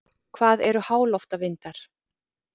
Hvað eru háloftavindar?